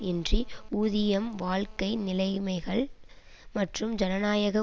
இன்றி ஊதியம் வாழ்க்கை நிலைமைகள் மற்றும் ஜனநாயக